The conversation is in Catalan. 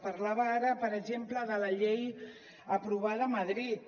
parlava ara per exemple de la llei aprovada a madrid